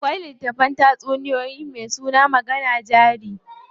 Akwai littafin tatsuniyoyi me suna magana jari ce.